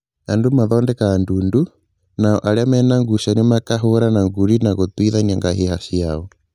Andũ mathondekaga ndundu, nao arĩa mena ngucanio makahũrana ngundi na gũtuithania ngahĩha ciao